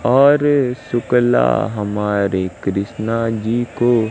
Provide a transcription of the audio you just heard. और शुक्ला हमारे कृष्णा जी को--